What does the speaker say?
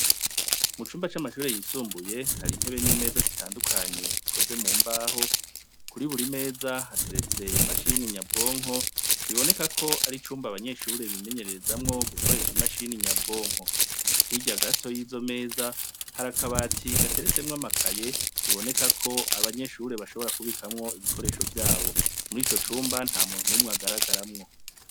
Mu cumba c'amashure y'isumbuye, hari intebe n'imeza zitandukanye zikoze mu mbaho, kuri buri meza hateretse imashini nyabwonko, biboneka ko ari icumba abanyeshure bimenyererezamwo gukoresha imashini nyabwonko. Hirya gato y'izo meza, hari akabati gateretsemwo amakaye, biboneka ko abanyeshure bashobora kubikamwo ibikoresho vyabo. Muri ico cumba, nta muntu n'umwe agaragaramwo.